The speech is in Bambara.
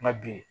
Nka bi